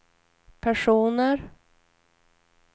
personer